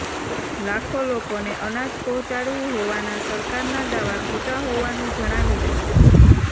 લાખો લોકોને અનાજ પહોંચાડ્યું હોવાના સરકારના દાવા ખોટા હોવાનું જણાવી રહ્યાં છે